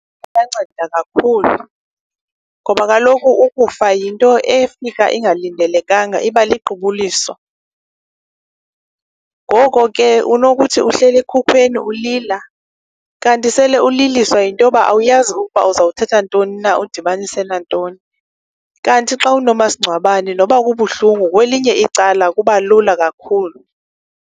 Kuyanceda kakhulu ngoba kaloku ukufa yinto efika ingalindelekanga, iba liqubuliso. Ngoko ke unokuthi ehleli ekhukweni ulila kanti sele uliliswa yinto yoba awuyazi ukuba uzothatha ntoni na udibanise nantoni. Kanti xa unomasingcwabane noba kubuhlungu kwelinye icala kubalula kakhulu.